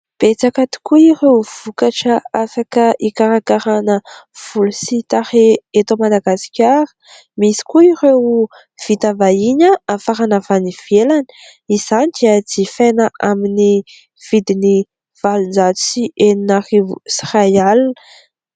Betsaka tokoa ireo vokatra afaka hikarakarana volo sy tarehy eto Madagasikara. Misy koa ireo vita vahiny nafarana avy any ivelany. Izany dia jifaina amin'ny vidiny valonjato sy enina arivo sy iray alina.